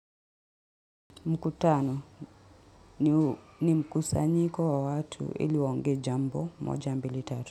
Mkutano ni mkusanyiko wa watu ili waongee jambo moja mbili tatu.